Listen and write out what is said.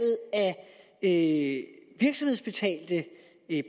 af virksomhedsbetalte